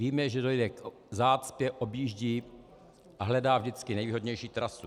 Víme, že dojde k zácpě, objíždí a hledá vždycky nejvýhodnější trasu.